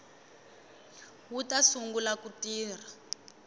wu ta sungula ku tirha